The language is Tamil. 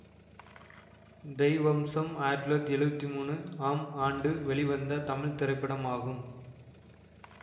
தெய்வம்சம் ஆயிரத்தி தொள்ளாயிரத்தி எழுவத்தி மூணு ஆம் ஆண்டு வெளிவந்த தமிழ் திரைப்படமாகும்